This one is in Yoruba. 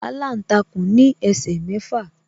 Aláǹtakùn ní ẹsẹ̀ mẹ́fà.